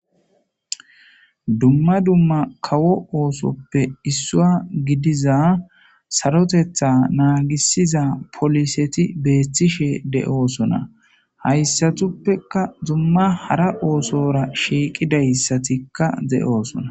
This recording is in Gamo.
Dumma dumma kawo oosoppe issua gidiza sarotetha naagisiza poliseti beethtishe de'oosona hayssatuppeka zumma hara oosora shiiqidayssatikka de'oosona.